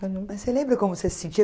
Mas você lembra como você se sentia?